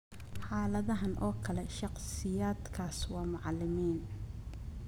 Xaaladdan oo kale, shakhsiyaadkaas waa macalimiin.